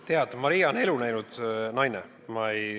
Tead, Maria on elu näinud naine.